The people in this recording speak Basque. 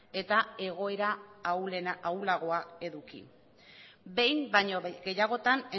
eta egoera ahulagoa eduki behin baino gehiagotan